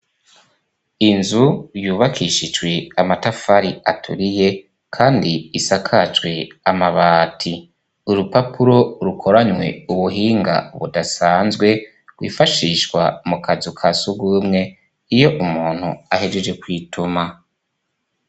Inzu yubakishijwe amatafari aturiye kandi isakajwe amabati, urupapuro rukoranywe ubuhinga budasanzwe rwifashishwa mukazu kasugwumwe iyo umuntu ahejeje kwituma.